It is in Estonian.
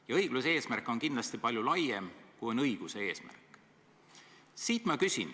Ja õigluse eesmärk on kindlasti palju laiem kui õiguse eesmärk.